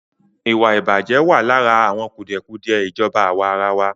Ìwàìbàjẹ́ wà lára àwọn kùdìẹ̀kùdìẹ ìjọba àwàrawa.